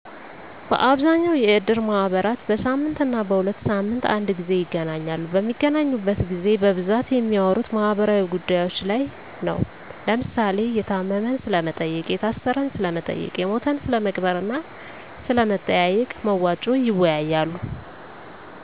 በአብዛኛው የእድር ማህበራት በሳምንትና በሁለት ሳምንት አንድ ግዜ ይገናኛሉ። በሚገናኙበት ግዜ በብዛት የሚያወሩት ማህበራዊ ጉዳዮች ላይ ነው። ለምሳሌ፦ የታመመን ስለመጠየቅ፣ የታሰረን ስለመጠየቅ፣ የሞተን ስለመቅበርና ስለመጠየቂያ መዋጮ ይወያያሉ።